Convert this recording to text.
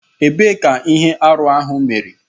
Ebee ka ihe arụ ahụ mere.